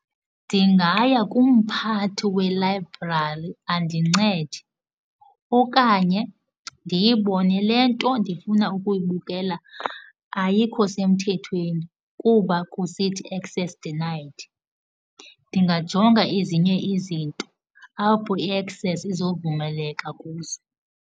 Ndingaya kumphathi welayibrari andincede okanye ndiyibone le nto ndifuna ukuyibukela ayikho semthethweni kuba kusithi access denied. Ndingajonga ezinye izinto apho i-access izovumeleka kuzo.